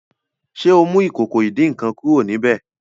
ṣe ọ mú Ìkòkò ìdín-nǹkan kúrò níbẹ?